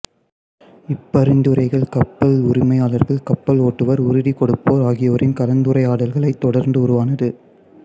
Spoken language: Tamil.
இப்பரிந்துரைகள் கப்பல் உரிமையாளர்கள் கப்பலோட்டுவோர் உறுதிகொடுப்போர் ஆகியோரின் கலந்துரையாடல்களைத் தொடர்ந்து உருவானது